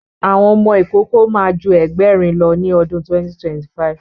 Àwọn ọmọ ìkókó ma ju Ẹgbẹ̀rin lọ ní ọdún 2025